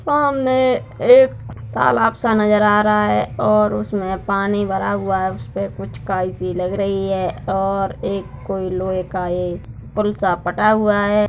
सामने एक तालाब सा नजर आ रहा है उसमें पानी भर हुआ है उस पे कुछ काई सी लग रही है और एक कोई लोहे का एक पुल सा पटा हुआ है।